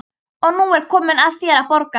Og nú er komið að þér að borga.